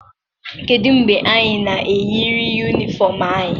kedu mgbe anyị na-eyiri Uniform anyị?